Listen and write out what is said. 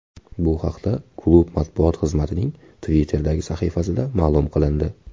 Bu haqda klub matbuot xizmatining Twitter’dagi sahifasida ma’lum qilindi .